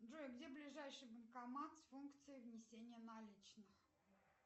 джой где ближайший банкомат с функцией внесения наличных